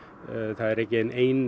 það er engin ein